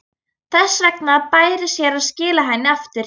Þess vegna bæri sér að skila henni aftur.